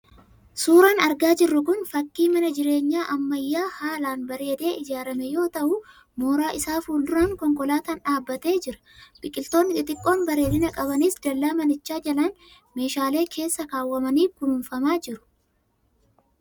Suuraan argaa jirru kun fakii mana jireenyaa ammayyaa haalaan bareedee ijaaramee yoo ta'u mooraa isaa fuul-duraan konkolaataan dhaabbatee jira. Biqiltoonni xixiqqoon bareedina qabanis dallaa manichaa jalaan meeshaalee keessa keewwamanii kunuunfamaa jiru.